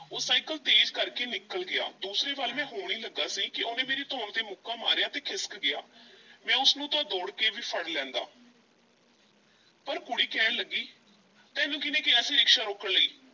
ਉਹ ਸਾਈਕਲ ਤੇਜ਼ ਕਰਕੇ ਨਿਕਲ ਗਿਆ, ਦੂਸਰੇ ਵੱਲ ਮੈਂ ਹੋਣ ਈ ਲੱਗਾ ਸੀ ਕਿ ਉਹਨੇ ਮੇਰੀ ਧੌਣ ਉੱਤੇ ਮੁੱਕਾ ਮਾਰਿਆ ਤੇ ਖਿਸਕ ਗਿਆ, ਮੈਂ ਉਸ ਨੂੰ ਤਾਂ ਦੌੜ ਕੇ ਵੀ ਫੜ ਲੈਂਦਾ ਪਰ ਕੁੜੀ ਕਹਿਣ ਲੱਗੀ, ਤੈਨੂੰ ਕੀਹਨੇ ਕਿਹਾ ਸੀ ਰਿਕਸ਼ਾ ਰੋਕਣ ਲਈ।